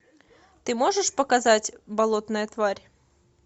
ты можешь показать болотная тварь